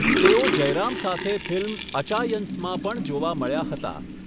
તેઓ જયરામ સાથે ફિલ્મ 'અચાયંસ' માં પણ જોવા મળ્યા હતા.